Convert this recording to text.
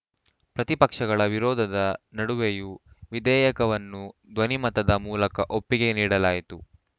ಪ್ರತಿಪಕ್ಷಗಳ ವಿರೋಧದ ನಡುವೆಯೂ ವಿಧೇಯಕವನ್ನು ಧ್ವನಿ ಮತದ ಮೂಲಕ ಒಪ್ಪಿಗೆ ನೀಡಲಾಯಿತು